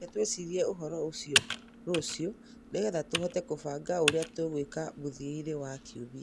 Reke twĩcirie ũhoro ũcio rũciũ nĩgetha tũhote kũbanga ũrĩa tũgwĩka mũthia-inĩ wa kiumia.